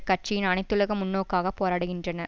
கட்சியின் அனைத்துலக முன்நோக்குக்காக போராடுகின்றன